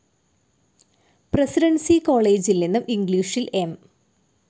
Presidency കോളേജിൽ നിന്നും ഇംഗ്ലീഷിൽ എം.